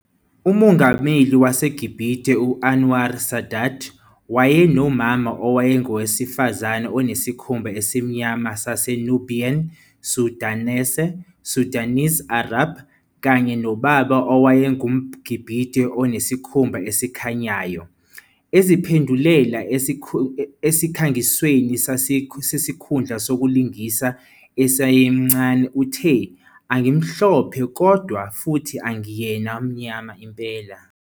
UMongameli waseGibhithe u-Anwar Sadat wayenomama owayengowesifazane onesikhumba esimnyama saseNubian Sudanese, Sudanese Arab, kanye nobaba owayengumGibhithe onesikhumba esikhanyayo. Eziphendulela esikhangisweni sesikhundla sokulingisa, esemncane uthe, "Angimhlophe kodwa futhi angiyena mnyama impela.